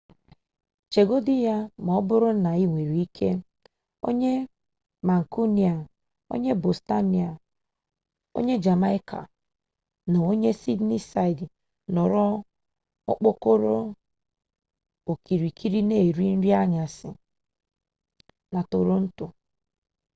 cheegodu ya maoburu na inwere ike onye mancunian onye bostonian onye jamaica na onye sydneyside nnoro okpokoro okirikiri na eri nri anyasi na toronto